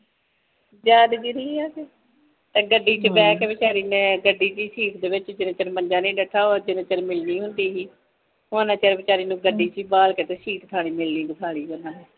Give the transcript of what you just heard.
ਜ਼ਾਦਗਰੀ ਹੈ ਕਿ ਗੱਡੀ ਵਿੱਚ ਬੇ ਕੇ ਵੇਚਰੀ ਨੇ ਗੱਡੀ ਡੇ ਸੀਟ ਵਿੱਚ ਜਿਨਾ ਚਿਰ ਮੰਜਾ ਨਹੀਂ ਡਦਾ ਉਨ੍ਹਾਂ ਚਿਰ ਮਿਲਣੀ ਨਹੀਂ ਸੀ ਹੁੰਦੀ ਸੀ ਹੁਣ ਵੇਚਾਰੀ ਨੂੰ ਗੱਡੀ ਵਿਚ ਬਾਲ ਕੇ ਮਿਲਣੀ ਦੇਕਾਲੀ ਉਨ੍ਹਾਂ ਨੇ